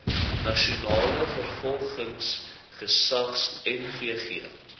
nasionale vervolgingsgesag nvg